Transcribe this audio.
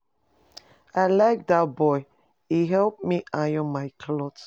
I like dat boy. He help me iron my cloth.